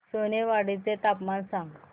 सोनेवाडी चे तापमान सांग